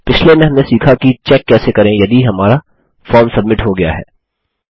पिछले में हमने सीखा कि चेक कैसे करें यदि हमारा फार्म सब्मिट हो गया है